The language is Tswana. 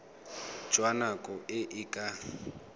jwa nako e e ka